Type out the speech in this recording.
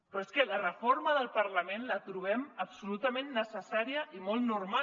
però és que la reforma del parlament la trobem absolutament necessària i molt normal